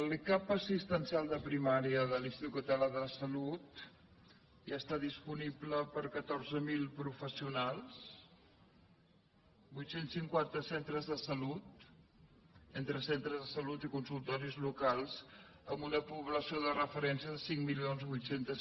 l’e cap assistencial de primària de l’institut català de la salut ja està disponible per a catorze mil pro fessionals vuit cents i cinquanta centres de salut entre centres de salut i consultoris locals amb una població de referència de cinc mil vuit cents